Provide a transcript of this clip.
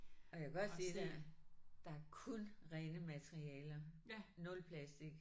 Og jeg kan godt sige dig der er kun rene materialer nul plastik